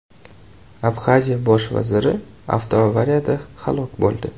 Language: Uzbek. Abxaziya bosh vaziri avtoavariyada halok bo‘ldi.